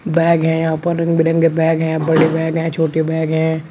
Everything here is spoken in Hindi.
बैग है यहां पर। रंग बिरंगे बैग हैं। बड़े बैग हैं छोटे बैग हैं।